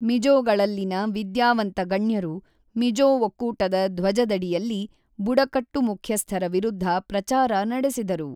ಮಿಜೋಗಳಲ್ಲಿನ ವಿದ್ಯಾವಂತ ಗಣ್ಯರು ಮಿಜೋ ಒಕ್ಕೂಟದ ಧ್ವಜದಡಿಯಲ್ಲಿ ಬುಡಕಟ್ಟು ಮುಖ್ಯಸ್ಥರ ವಿರುದ್ಧ ಪ್ರಚಾರ ನಡೆಸಿದರು.